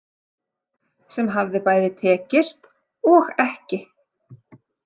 Sem hafði bæði tekist og ekki.